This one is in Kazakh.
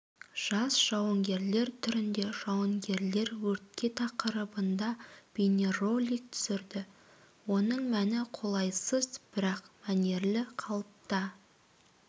жас жауынгерлер түрінде жауынгерлер өртке тақырыбында бейнеролик түсірді оның мәні қолайсыз бірақ мәнерлі қалыпта